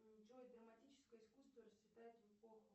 джой драматическое искусство расцветает в эпоху